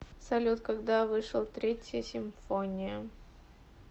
салют когда вышел третья симфония